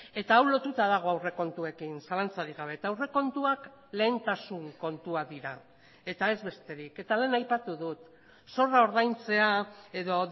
eta hau lotuta dago aurrekontuekin zalantzarik gabe eta aurrekontuak lehentasun kontuak dira eta ez besterik eta lehen aipatu dut zorra ordaintzea edo